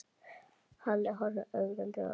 Halli horfði ögrandi á Örn.